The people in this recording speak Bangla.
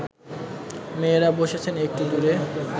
মেয়েরা বসেছেন একটু দূরে